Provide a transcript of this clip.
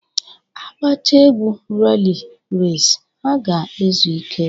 A gbachaa egwu reley resi, ha ga-ezu ike.